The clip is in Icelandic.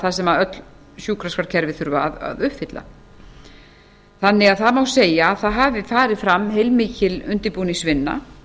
þær sem öll sjúkraskrárkerfi þurfa að uppfylla það má því að segja að það hafi farið fram heilmikil undirbúningsvinna